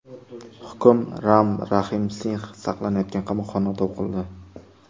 Hukm Ram Rahim Singx saqlanayotgan qamoqxonada o‘qildi.